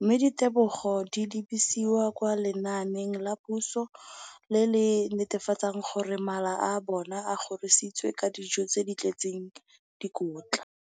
mme ditebogo di lebisiwa kwa lenaaneng la puso le le netefatsang gore mala a bona a kgorisitswe ka dijo tse di tletseng dikotla.